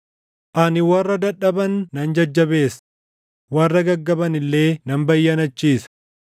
Ani warra dadhaban nan jajjabeessa; warra gaggaban illee nan bayyanachiisa.”